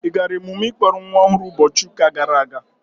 Ị gara emume ịkpọrọ nwa ọhụrụ ụbọchị ụka gara aga?